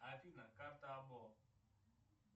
афина карта або